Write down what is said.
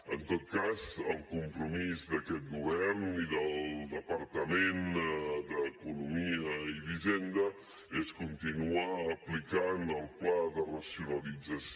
en tot cas el compromís d’aquest govern i del departament d’economia i hisenda és continuar aplicant el pla de racionalització